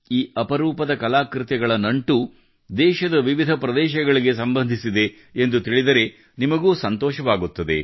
ಈ ಅಪರೂಪದ ಕಲಾಕೃತಿಗಳ ನಂಟು ದೇಶದ ವಿವಿಧ ಪ್ರದೇಶಗಳಿಗೆ ಸಂಬಂಧಿಸಿದೆ ಎಂದು ತಿಳಿದರೆ ನಿಮಗೂ ಸಂತೋಷವಾಗುತ್ತದೆ